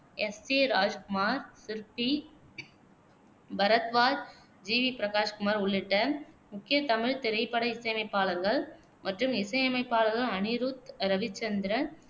S A Rajkumar, Sirpy, Bharadwaj, G V Prakash Kumar உள்ளிட்ட முக்கிய தமிழ்த் திரைப்பட இசையமைப்பாளர்கள் மற்றும் இசையமைப்பாளர்கள் அனிருத் ரவிச்சந்திரன்